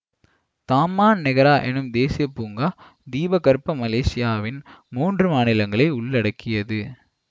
Taman Negara எனும் தேசிய பூங்கா தீபகற்ப மலேசியாவின் மூன்று மாநிலங்களை உள்ளடக்கியது